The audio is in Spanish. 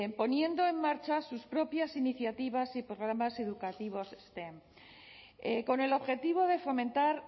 poniendo en marcha sus propias iniciativas y programas educativos stem con el objetivo de fomentar